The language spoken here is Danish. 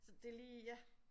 Så det lige ja